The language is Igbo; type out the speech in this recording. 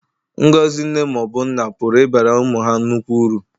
Ngọzi nne ma ọ bụ nna pụrụ ịbara ụmụ ha nnukwu uru.